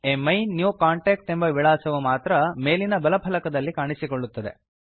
ಅಮಿನ್ಯೂಕಾಂಟ್ಯಾಕ್ಟ್ ಎಂಬ ವಿಳಾಸವು ಮಾತ್ರ ಮೇಲಿನ ಬಲ ಫಲಕದಲ್ಲಿ ಕಾಣಿಸುತ್ತಿದೆ